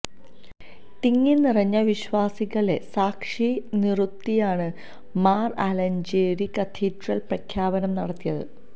തിങ്ങിനിറഞ്ഞ വിശ്വാസികളെ സാക്ഷി നിറുത്തിയാണ് മാർ ആലഞ്ചേരി കത്തീഡ്രൽ പ്രഖ്യാപനം നടത്തിയത്